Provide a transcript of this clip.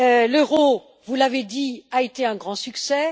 L'euro vous l'avez dit a été un grand succès.